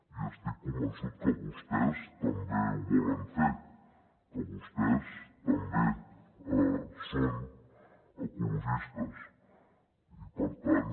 i estic convençut que vostès també ho volen fer que vostès també són ecologistes i per tant